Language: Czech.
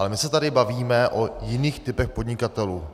Ale my se tady bavíme o jiných typech podnikatelů.